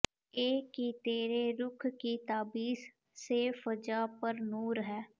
ਐ ਕਿ ਤੇਰੇ ਰੁਖ਼ ਕੀ ਤਾਬਿਸ਼ ਸੇ ਫ਼ਜ਼ਾ ਪਰ ਨੂਰ ਹੈ